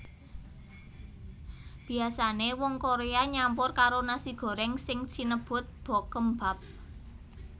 Biasane wong Korea nyampur karo nasi goreng sing sinebut bokeumbap